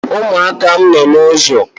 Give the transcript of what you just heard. umuaka m no n’ụzọ